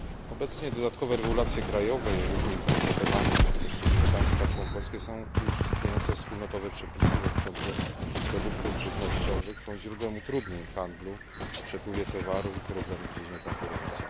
Obecnie dodatkowe przepisy krajowe i różnie interpretowane przez poszczególne państwa członkowskie już istniejące wspólnotowe przepisy dotyczące produktów żywnościowych są źródłem utrudnień w handlu, przepływie towaru i problemów w dziedzinie konkurencji.